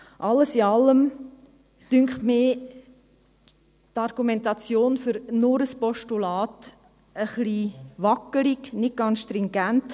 Alles in allem finde ich die Argumentation für nur ein Postulat etwas wackelig, nicht ganz stringent.